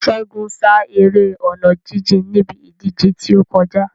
Ṣégun sá eré ọ̀nà jíjìn níbi ìdíje tí ó kọjá.